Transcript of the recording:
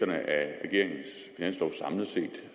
jeg er